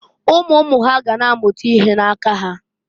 Umu umu ha ga na-amụta ihe na-aka ha.